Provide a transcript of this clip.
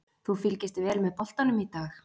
Þú fylgist vel með boltanum í dag?